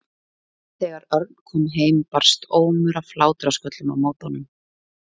Þegar Örn kom heim barst ómur af hlátrasköllum á móti honum.